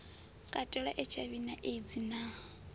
katelwa hiv na aids na